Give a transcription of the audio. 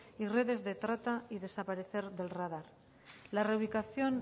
y redes de trata y desaparecer del radar la erradicación